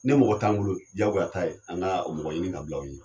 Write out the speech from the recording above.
Ne mɔgɔ t'an bolo jagoya t'a ye an ka mɔgɔ ɲini ka bila anw ɲɛ.